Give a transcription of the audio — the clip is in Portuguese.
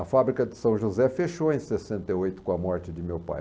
A fábrica de São José fechou em sessenta e oito com a morte de meu pai.